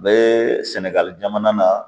U bɛ sɛnɛgali jamana na